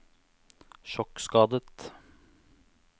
sjokkskadet